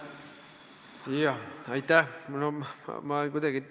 Aitäh!